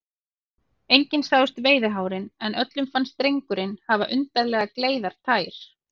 Engin sáust veiðihárin, en öllum fannst drengurinn hafa undarlega gleiðar tær.